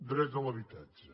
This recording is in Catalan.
dret a l’habitatge